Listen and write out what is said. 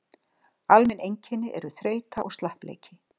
Almenn einkenni eru þreyta og slappleiki.